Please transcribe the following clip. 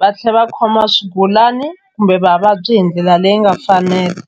va tlhela va khoma swigulani kumbe vavabyi hi ndlela leyi nga fanela.